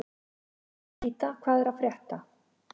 Nikíta, hvað er að frétta?